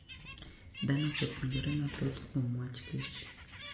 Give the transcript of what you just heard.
Dhano osepuonjore mathoth kuom wach kich.